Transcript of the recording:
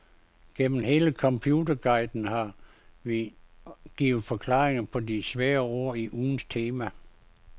Gennem hele computerguiden har vi givet forklaringer på de svære ord i ugens tema.